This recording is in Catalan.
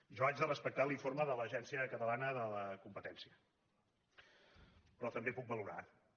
jo haig de respectar l’informe de l’autoritat catalana de la competència però també puc valorar lo